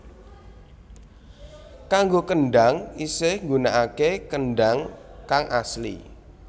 Kanggo kendang isih nggunakake kendang kang asli